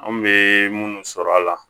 An bɛ minnu sɔrɔ a la